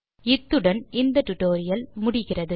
இத்துடன் இந்த டுடோரியல் முடிகிறது